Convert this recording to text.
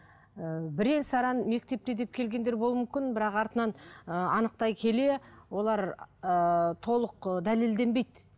ыыы бірең саран мектепте деп келгендер болуы мүмкін бірақ артынан ыыы анықтай келе олар ыыы толық дәлелденбейді